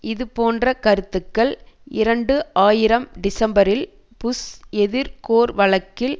இதுபோன்ற கருத்துக்கள் இரண்டு ஆயிரம் டிசம்பரில் புஷ் எதிர் கோர் வழக்கில்